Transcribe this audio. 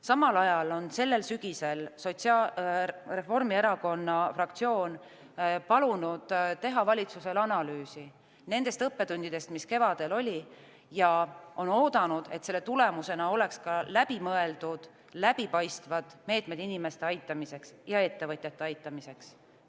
Samal ajal on sellel sügisel Reformierakonna fraktsioon palunud teha valitsusel analüüsi nendest õppetundidest, mis kevadel saadi, ja on oodanud, et selle tulemusena oleks ka läbimõeldud ja läbipaistvad meetmed inimeste aitamiseks ja ettevõtjate aitamiseks.